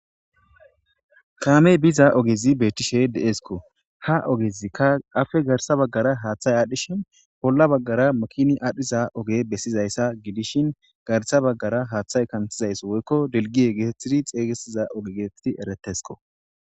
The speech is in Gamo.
Kaamey biza ogezi beetishe de'eskko; ha ogezikka aappe garssa bagaara haaththay aadhishin bolla baggara makini aadhiza oge besizayssa gidishin garssa bagaara haaththay kanththizayssi woykko dilgiye geetetidi xeygesiza oge geetetidi ereetesko.